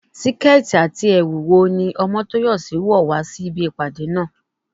Síkẹ́ẹ̀tì àti ẹ̀wù ni aṣọ wo ní Omotoyosi wọ̀ wá sí ibi ìpàdé náà?